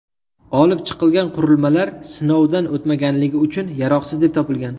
Olib chiqilgan qurilmalar sinovdan o‘tmaganligi uchun yaroqsiz deb topilgan.